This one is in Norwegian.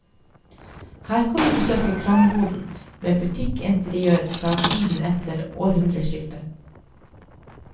Her kan du besøke kramboden med butikkinteriør fra tiden etter århundreskiftet.